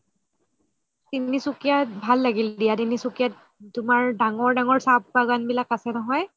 তিনসুকিয়াত ভাল লাগিল দিয়া তিনসুকিয়াত তুমাৰ ডাঙৰ ডাঙৰ চাহ বাগান বিলাক আছে নহয়